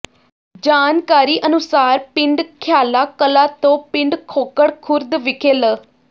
ਜਾਣਕਾਰੀ ਅਨੁਸਾਰ ਪਿੰਡ ਖਿਆਲਾ ਕਲਾਂ ਤੋਂ ਪਿੰਡ ਖੋਖਰ ਖੁਰਦ ਵਿਖੇ ਲ